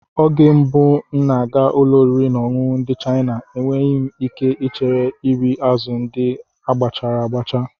Oge mbụ ị na-aga ụlọ oriri na ọṅụṅụ ndị China, enweghị ike ichere iri azụ̀ ndị agbachachara